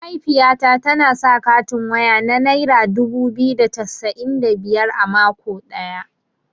Mahaifiyata tana sa katin waya na naira dubu biyu da cassa'in da biyar a mako ɗaya.